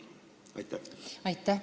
Aitäh!